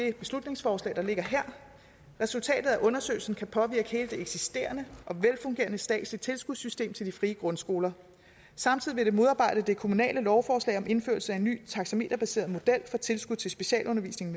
det beslutningsforslag der ligger her resultatet af undersøgelsen kan påvirke hele det eksisterende og velfungerende statslige tilskudssystem til de frie grundskoler samtidig vil det modarbejde det kommunale lovforslag om indførelse af en ny taxameterbaseret model for tilskud til specialundervisning